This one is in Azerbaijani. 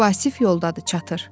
Vasif yoldadır, çatır.